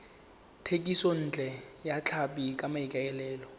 thekisontle ya tlhapi ka maikaelelo